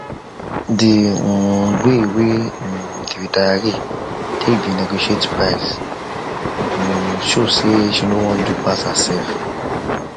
the um way whey um the retiree take dey negotiate price um show say she no wan do pass herself